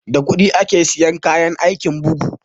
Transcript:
Da kuɗi ake siyan kayan aikin bugu